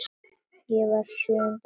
Ég var í sjöunda himni.